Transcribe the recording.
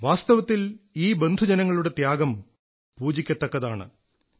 വാസ്തവത്തിൽ ഈ ബന്ധുജനങ്ങളുടെ ത്യാഗം പൂജിക്കത്തക്കതാണ്